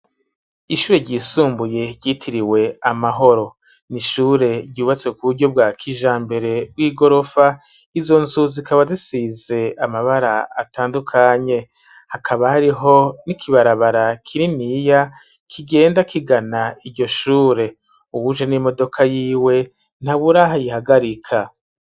Ishure ryisumbuye ryitiriwe amahoro, ni ishure ryubatse ku buryo bwa kijambere bw'igorofa; izo nzu zikaba zisize amabara atandukanye, hakaba hariho n'ikibarabara kininiya, kigenda kigana iryo shure uwuje n'imodoka yiwe, ntabura aho ayihagarika.